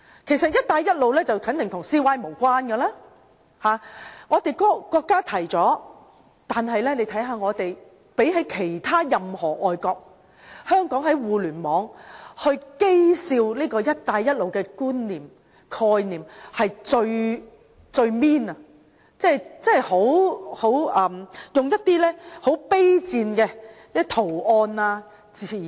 其實"一帶一路"肯定與 CY 無關，是由國家提出。然而，相對其他任何地方，香港在互聯網譏笑"一帶一路"的概念是最刻薄的，用上很卑賤的圖案或用語。